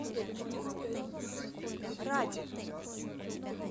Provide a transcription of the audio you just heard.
раде